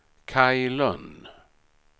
Kaj Lönn